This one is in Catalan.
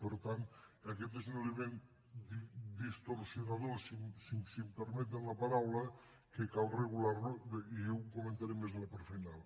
per tant aquest és un element distorsionador si em permeten la paraula que cal regular lo i ho comentaré més en la part final